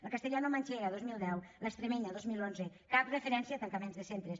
la castellanomanxega dos mil deu l’extremenya dos mil onze cap referència a tancaments de centres